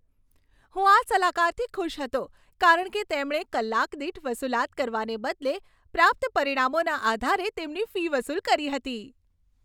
હું આ સલાહકારથી ખુશ હતો કારણ કે તેમણે કલાકદીઠ વસુલાત કરવાને બદલે પ્રાપ્ત પરિણામોના આધારે તેમની ફી વસૂલ કરી હતી.